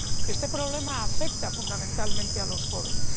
Este problema afecta fundamentalmente a los jóvenes.